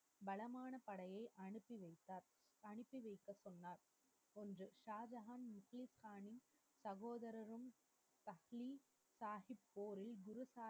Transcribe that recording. வளமான படையை அனுப்பி வைத்தார். அனுப்பி வைத்த சொன்னார் என்று ஷாஜஹான் குரு சாஹிப் சகோதரரும் சாஹிப் போரின் இரு